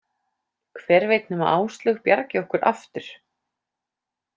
Hver veit nema Áslaug bjargi okkur aftur.